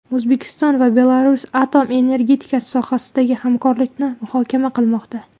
O‘zbekiston va Belarus atom energetikasi sohasidagi hamkorlikni muhokama qilmoqda.